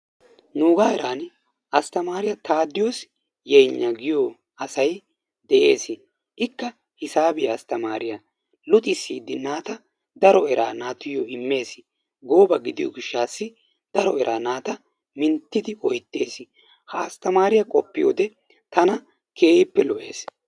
Nuuga heeran asttammariyaa Tadiwoos Yenya giyo asay dees. Ikka hisaabiyaa asttamiriyaa luxissidi naata daro eraa naatuyyo immees. Gooba gidiyo gishshassi daro eraa naata minttidi oyttees. Ha asttamare qopiyoode tana kehippe lo''ees.